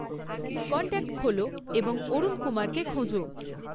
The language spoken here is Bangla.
কন্ট্যাক্ট খোলো এবং অরুণ কুমারকে খোঁজো